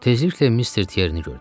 Tezliklə Mister Tierini gördüm.